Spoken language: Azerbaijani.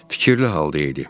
Fikirli halda idi.